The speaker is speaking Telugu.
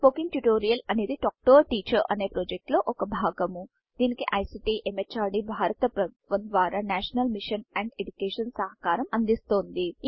స్పోకెన్ ట్యుటోరియల్ అనేది టాక్ టు ఏ టీచర్ అనే ప్రాజెక్ట్ లో ఒక భాగము దీనికి ఐసీటీ ఎంహార్డీ భారత ప్రభుత్వము ద్వారా నేషనల్ మిషన్ అండ్ ఎడ్యుకేషన్ సహకారం అందిస్తోంది